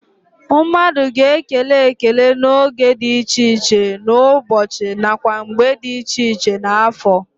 Mmadu ga-ekele ekele n'oge di iche iche n'ubochi nakwa mgbe di iche iche n'afo.